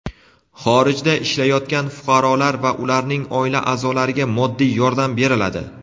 Xorijda ishlayotgan fuqarolar va ularning oila a’zolariga moddiy yordam beriladi.